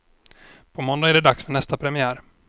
På måndag är det dags för nästa premiär.